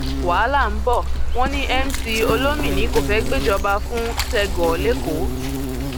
wàhálà ńbọ wọn ní mc olomini kò fẹẹ gbéjọba fún sẹgò lẹkọọ